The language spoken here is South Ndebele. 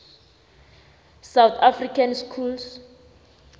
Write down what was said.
south african schools